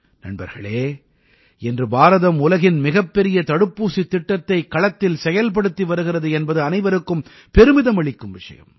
நண்பர்களே இன்று பாரதம் உலகின் மிகப்பெரிய தடுப்பூசித் திட்டத்தை களத்தில் செயல்படுத்தி வருகிறது என்பது அனைவருக்கும் பெருமிதம் அளிக்கும் விஷயம்